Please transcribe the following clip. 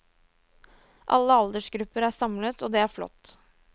Alle aldersgrupper er samlet, og det er flott.